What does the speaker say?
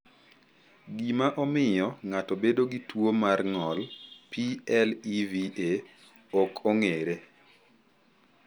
Gima omiyo ng’ato bedo gi tuwo mar ng’ol (PLEVA) ok ong’ere.